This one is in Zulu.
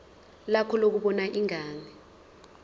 lakho lokubona ingane